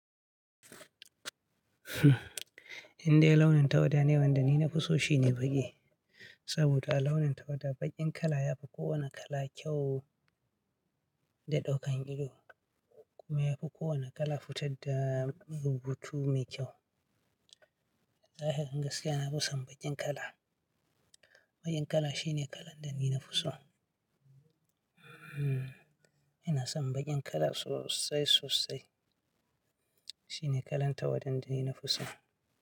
Indai launin tawada ne wanda ni na fi so shi ne baƙi. Saboda a launin tawada baƙin kala yafi kowane kala kyau da ɗaukan ido kuma yafi kowane kala fitar da rubutu mai kyau. Lahirin gaskiya, na fi son baƙin kala. Baƙin kala shine kalan da ni na fi so. Hmm, ina son baƙin kala sosai sosai. Shine kalan tawada da ni na fi so.